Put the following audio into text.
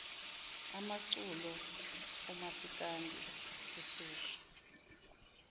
amaculo omasikandi sisuka